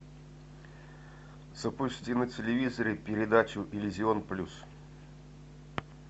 запусти на телевизоре передачу иллюзион плюс